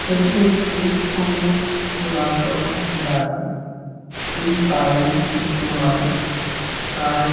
এটি একটি অনেক পুরাতন বাড়ি এই বাড়ির দেওয়াল প্রায়--